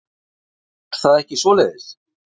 Er það ekki svoleiðis?